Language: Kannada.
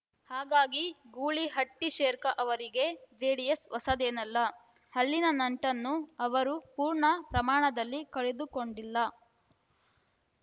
ಹಾಗಾಗಿ ಗೂಳಿಹಟ್ಟಿಶೇರ್ಖ ಅವರಿಗೆ ಜೆಡಿಎಸ್‌ ಹೊಸದೇನಲ್ಲ ಅಲ್ಲಿನ ನಂಟನ್ನು ಅವರು ಪೂರ್ಣ ಪ್ರಮಾಣದಲ್ಲಿ ಕಡಿದುಕೊಂಡಿಲ್ಲ